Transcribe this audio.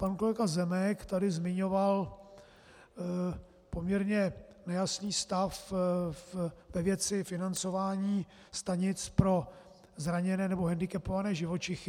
Pan kolega Zemek tady zmiňoval poměrně nejasný stav ve věci financování stanic pro zraněné nebo hendikepované živočichy.